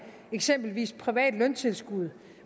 eksempelvis privat løntilskud